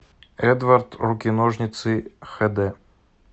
эдвард руки ножницы хд